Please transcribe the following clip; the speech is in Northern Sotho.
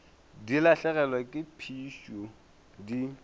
di lahlegelwa ke phišo di